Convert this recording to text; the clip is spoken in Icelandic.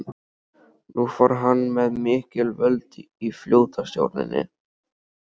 Nú fór hann með mikil völd í flotastjórninni.